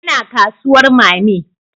Ina kasuwar mammy